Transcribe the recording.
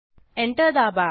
enter दाबा